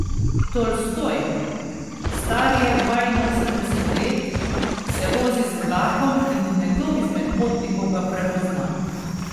Tolstoj, star je dvainosemdeset let, se vozi z vlakom in nekdo izmed potnikov ga prepozna.